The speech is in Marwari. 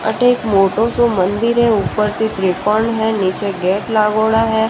अठ एक मोटो सा मंदिर है ऊपर से त्रिपाड़ है निचे गेट लगेडो है।